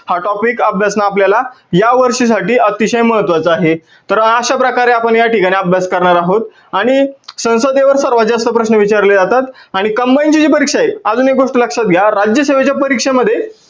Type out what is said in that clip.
हा topic अभ्यासनं आपल्याला या वर्षी साठी अतिशय महत्वाच आहे. तर अश्या प्रकारे आपण या ठिकाणी अभ्यास करणार आहोत आणि संसदेवर सर्वात जास्त प्रश्न विचारले जातात आणि combine ची जी परीक्षा आहे अजून एक गोष्ट लक्षात घ्या राज्यासेवेच्या परीक्षेमध्ये